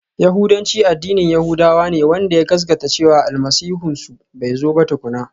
Yahudanci addinin yahudawa ne wanda ya gaskata cewa Almasihunsu bai zo ba tukuna.